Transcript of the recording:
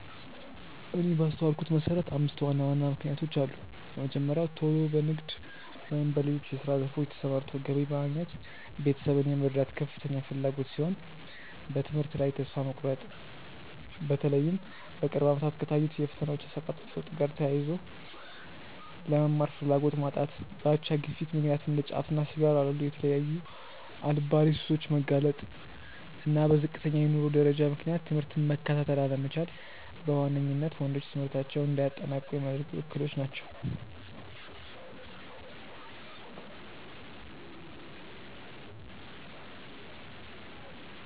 እኔ ባስተዋልኩት መሰረት አምስት ዋና ዋና ምክንያቶች አሉ። የመጀመሪያው ቶሎ በንግድ ወይም በሌሎች የስራ ዘርፎች ተሰማርቶ ገቢ በማግኘት ቤተሰብን የመርዳት ከፍተኛ ፍላጎት ሲሆን፤ በትምህርት ላይ ተስፋ መቁረጥ(በተለይም በቅርብ አመታት ከታዩት የፈተናዎች አሰጣጥ ለውጥ ጋር ተያይዞ)፣ ለመማር ፍላጎት ማጣት፣ በአቻ ግፊት ምክንያት እንደ ጫትና ሲጋራ ላሉ የተለያዩ አልባሌ ሱሶች መጋለጥ፣ እና በዝቅተኛ የኑሮ ደረጃ ምክንያት ትምህርትን መከታተል አለመቻል በዋነኝነት ወንዶች ትምህርታቸውን እንዳያጠናቅቁ ሚያደርጉ እክሎች ናቸው።